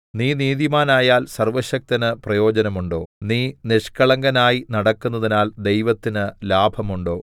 നീ നീതിമാനായാൽ സർവ്വശക്തന് പ്രയോജനമുണ്ടോ നീ നിഷ്കളങ്കനായി നടക്കുന്നതിനാൽ ദൈവത്തിന് ലാഭമുണ്ടോ